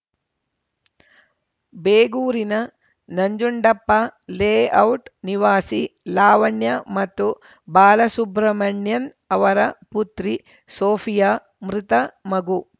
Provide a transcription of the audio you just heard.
ಬೇಗೂರಿನ Nanjundappa layout ನಿವಾಸಿ ಲಾವಣ್ಯ ಮತ್ತು ಬಾಲಸುಬ್ರಮಣ್ಯನ್‌ ಅವರ ಪುತ್ರಿ ಸೋಫಿಯಾ ಮೃತ ಮಗು